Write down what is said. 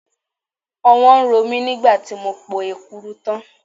Ọwọ́ ń ro mí nígbà tí mo po Èkuru tán.